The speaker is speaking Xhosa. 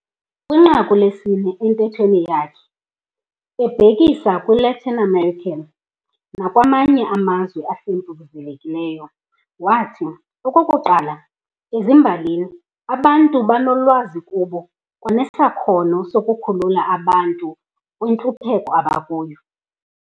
Kwinqaku lesine entethweni yakhe, ebhekisa kwi-Latin America nakwamanye amazwe ahlwempuzekileyo, waathi "okokuqala ezimbalini, ubuntu bunolwazi kubo kwanesakhono sokhulula aba bantu kwintlupheko abakuyo.".